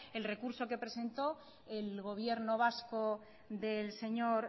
el recurso que presentó el gobierno vasco del señor